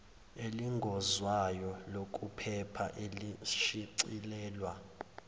elihlongozwayo lokuphepha elishicilelwe